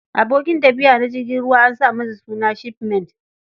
Abokin tafiya na jirgin ruwa an sa masa suna 'ship mate'.